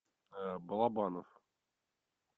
балабанов